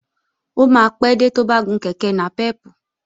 Ó máa pé dé tó bá gun kèké nàpẹ́pù